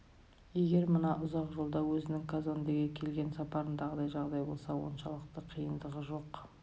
егер мына ұзақ жолда өзінің казондеге келген сапарындағыдай жағдай болса оншалықты қиындығы жоқ